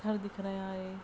दिख रहा है।